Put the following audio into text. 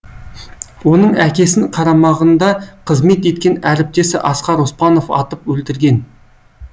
оның әкесін қарамағында қызмет еткен әріптесі асқар оспанов атып өлтірген